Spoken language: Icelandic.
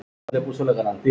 Hætta hverju?